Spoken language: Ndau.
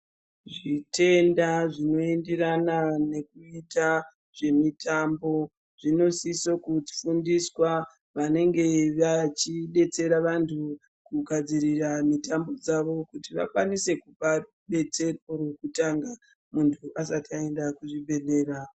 Zvitenda zvinoenderana nekuita zvemitambo zvinosiso kufundiswa vanenge vachibetsera vantu kugadzirira mitambo dzavo. Kuti vakwanise kupa rubetsero rwekutanga muntu asati aenda kuzvibhedhlera.